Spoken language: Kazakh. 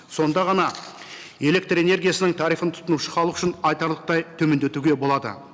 сонда ғана электрэнергиясының тарифын тұтынушы халық үшін айтарлықтай төмендетуге болады